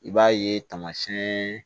I b'a ye tamasiɛn